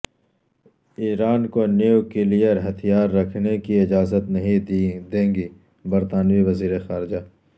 ایران کو نیوکلیئر ہتھیار رکھنے کی اجازت نہیں دیں گے برطانوی وزیر خارجہ